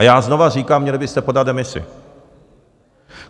A já znovu říkám: měli byste podat demisi.